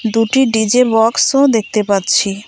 দুটি ডি_জে বক্সও দেখতে পাচ্ছি।